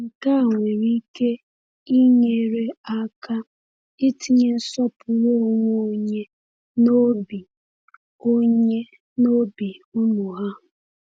Nke a nwere ike inyere aka itinye nsọpụrụ onwe onye n’obi onye n’obi ụmụ ahụ.